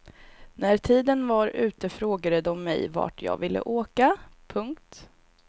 När tiden var ute frågade dom mig vart jag ville åka. punkt